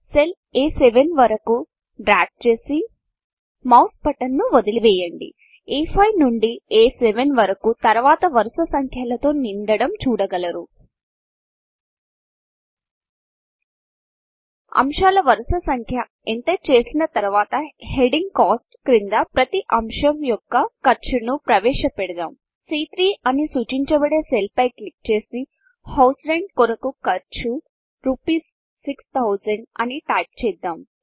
cell అ7 వరకు drag చేసి మౌస్ బటన్ ను వదిలివేయండి అ5 నుండి అ7 వరకు తరువాత వరుస సంఖ్యలతో నిండాడం చూడగలరు అంశాల వరుస సంఖ్య ఎంటర్ చేసిన తరువాత హెడింగ్ Costకాస్ట్ క్రింద ప్రతి అంశం యొక్క ఖర్చును ప్రవేశ పెద్దాం సీ3 అని సూచించబడే సెల్ పై క్లిక్ చేసి హౌస్ రెంట్ కొరకు ఖర్చు రూపీస్ 6000 అని టైప్ చేద్దాం